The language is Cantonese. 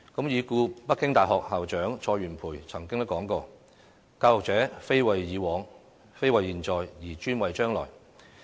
已故北京大學校長蔡元培曾經說過："教育者，非為已往，非為現在，而專為將來。